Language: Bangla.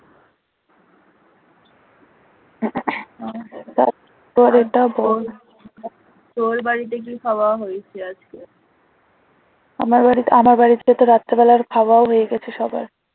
আমার বাড়িতে আমার বাড়িতে তো রাত্রিবেলার খাওয়াও হয়ে গেছে সবার